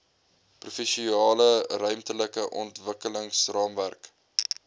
provinsiale ruimtelike ontwikkelingsraamwerk